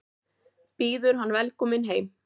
Býður hann velkominn heim.